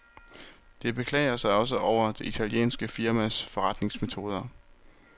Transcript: De beklager sig også over det italienske firmas forretningsmetoder.